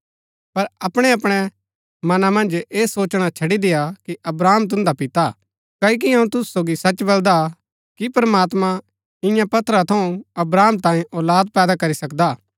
पर अपणैअपणै मना मन्ज ऐह सोचणा छड़ी देय्आ कि अब्राहम तुन्दा पिता हा क्ओकि अऊँ तुसु सोगी सच बलदा कि प्रमात्मां ईयां पत्थर थऊँ अब्राहम तांयें औलाद पैदा करी सकदा